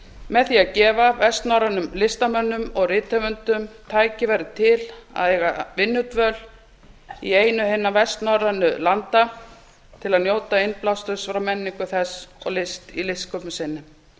með því að gefa vestnorrænum listamönnum og rithöfundum tækifæri til að eiga vinnudvöl í einu hinna vestnorrænu landanna til að njóta innblásturs frá menningu þess og list í listsköpun sinni